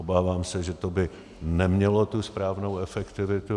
Obávám se, že by to nemělo tu správnou efektivitu.